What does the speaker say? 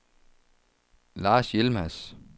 Lars Yilmaz